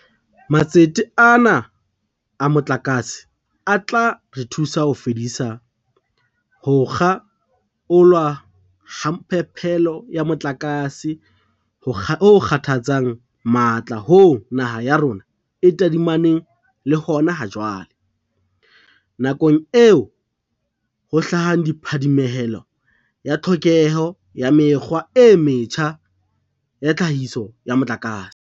Matsete ana a motlakase a tla re thusa ho fedisa ho kga olwa ha phepelo ya motlakase ho kgathatsang matla hoo naha ya rona e tadimaneng le hona ha jwale, nakong eo ho hlahang phadimehelo ya tlhokeho ya mekgwa e metjha ya tlhahiso ya motlakase.